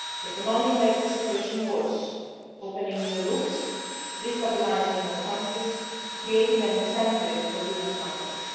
the flows they can only make the situation worse opening new routes, destabilising more countries and creating an incentive for human